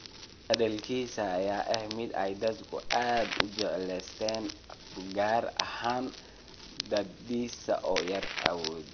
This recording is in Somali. Hadalkiisa ayaa ahaa mid ay dadku aad u jeclaysteen gaar ahaan da'diisa oo yar awgeed.